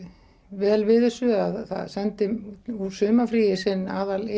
vel við þessu það sendi úr sumarfríi sinn